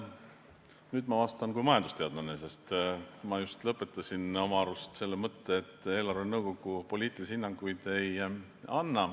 Nüüd ma vastan kui majandusteadlane, sest ma just oma arust lõpetasin selle mõtte, et eelarvenõukogu poliitilisi hinnanguid ei anna.